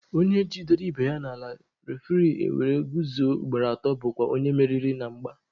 Onye jidere ibe ya n'ala refuri ewere kuzuo ugboro atọ bụkwa onye meriri na mgba.